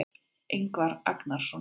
Ingvar Agnarsson.